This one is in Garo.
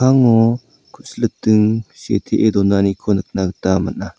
kusiliting sitee donaniko nikna gita man·a.